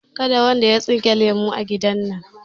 Kada wanda ya tsinka lemu a gidan nan!